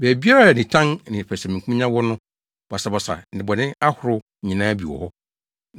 Baabiara a nitan ne pɛsɛmenkominya wɔ no, basabasa ne bɔne ahorow nyinaa bi wɔ hɔ.